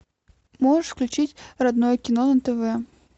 можешь включить родное кино на тв